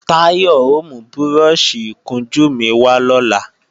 Táyọ̀ ò mú búrọ́ọ̀ṣì ìkunjú mi wà lọ́la